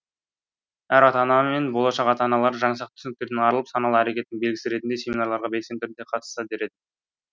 әр ата ана мен болашақ ата аналар жаңсақ түсініктерден арылып саналы әрекеттің белгісі ретінде семинарларға белсенді түрде қатысса дер едім